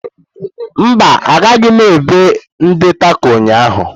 Mba, agaghị m ebe ndi Tako ụnyaahụ.